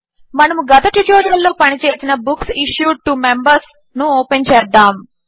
మనము గత ట్యుటోరియల్లో పని చేసిన బుక్స్ ఇష్యూడ్ టో మెంబర్స్ ను ఓపెన్ చేద్దాము